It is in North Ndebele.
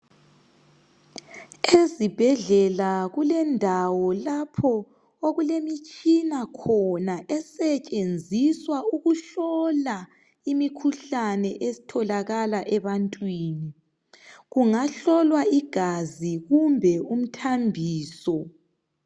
Ezibhedlela kulendawo lapho okulemitshina khona esentshenziswa ukuhlola imikhuhlane etholakala ebantwini kungahlolwa igazi kumbe umthambiso